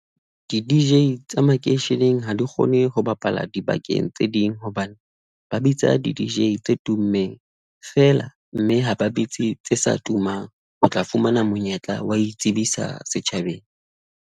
Di-D_J tsa makeisheneng ha di kgone ho bapala dibakeng tse ding hobane ba bitsa di-D_J tse tummeng feela mme ha ba bitse tse sa tumang ho tla fumana monyetla wa itsebisa setjhabeng.